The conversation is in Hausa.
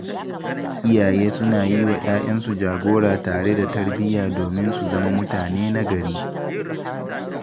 Iyaye suna yi wa ‘ya’yansu jagora tare da tarbiyya domin su zama mutane nagari